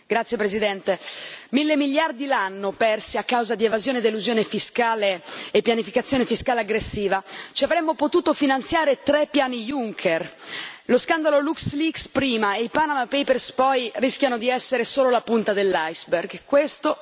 Signor Presidente, onorevoli colleghi, mille miliardi l'anno persi a causa di evasione ed elusione fiscale e pianificazione fiscale aggressiva ci avremmo potuto finanziare tre Piani Juncker. Lo scandalo LuxLeaks, prima, e i Panama Papers, poi, rischiano di essere solo la punta dell'iceberg.